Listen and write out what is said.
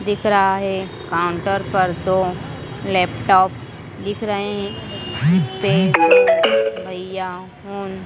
दिख रहा है काउंटर पर दो लैपटॉप दिख रहे हैं जिस पे भैया उन।